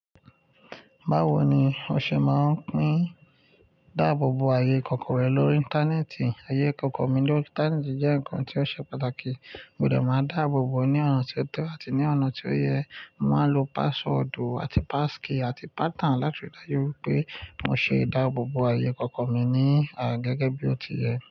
Báwo ni o ṣe máa ń pín dáàbò bo ayé ìkọ̀kọ̀ rẹ lórí Íńtánẹ́ẹ̀tì? Ayé ìkọ̀kọ̀ mi lórí Íńtánẹ́ẹ̀tì jẹ́ nǹkan tó ṣe pàtàkì. Mo gbọdọ̀ máa dáàbò bo ó ní ọ̀nà tó tọ́ àti ní ọ̀nà tí ó yẹ. Mo máa lo páswọọ̀dù àti pásíìkì àti pátàn láti rí i dájú pé mo ṣe dáàbò bo ayé kọ̀ọ̀kan mi ní gẹ́gẹ́ bí ó ti yẹ.